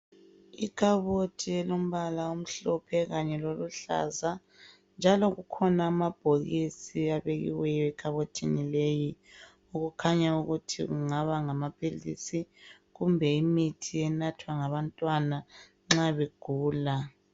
Ikhabothi elombala omhlophe kanye loluhlaza njalo kukhona amabhokisi abekiweyo ekhabothini leyi okukhanya ukuthi kungaba ngamaphilisi kumbe imithi enathwa ngabantwana nxa begula.